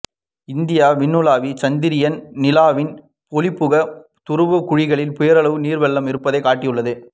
இந்திய விண்ணுளவி சந்திரியான் நிலவின் ஒளிபுகா துருவக் குழிகளில் பேரளவு நீர்வெள்ளம் இருப்பதைக் காட்டியுள்ளது